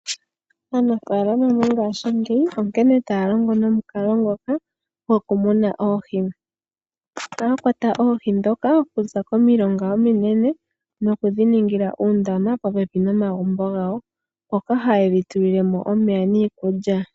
Aanafalama mongashingeyi onkene taya longo nomukalo ngoka gwokumuna oohi. Ohaya kwata oohi ndhoka okuza komilonga ominene, nokudhiningila oondama popepi nomagumbo gawo, mono haye dhi tulile mo omeya niikulya.